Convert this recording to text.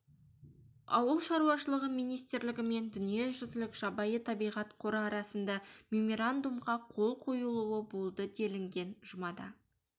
ауыл шаруашылығы министрлігі мен дүниежүзілік жабайы табиғат қоры арасында меморандумға қол қойылуы болды делінген жұмада